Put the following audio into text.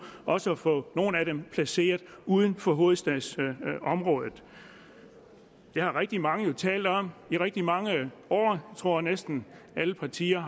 også at få nogle af dem placeret uden for hovedstadsområdet det har rigtig mange jo talt om i rigtig mange år jeg tror næsten alle partier